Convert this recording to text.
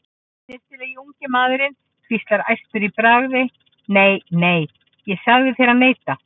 Snyrtilegi ungi maðurinn hvíslar æstur í bragði: Nei, nei, ég sagði þér að neita